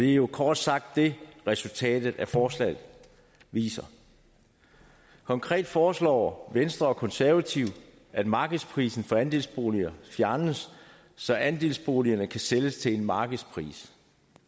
jo kort sagt det resultatet af forslaget viser konkret foreslår venstre og konservative at markedsprisen for andelsboliger fjernes så andelsboligerne kan sælges til markedspris